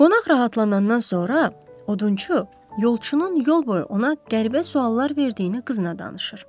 Qonaq rahatlanandan sonra odunçu yolçunun yol boyu ona qəribə suallar verdiyini qızına danışır.